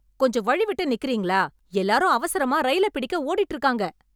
கொஞ்சம் வழி விட்டு நிக்கறீங்களா, எல்லாரும் அவசரமா ரயில பிடிக்க ஓடிட்டு இருக்காங்க.